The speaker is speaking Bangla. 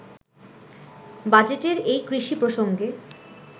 বাজেটের এই কৃষি প্রসঙ্গে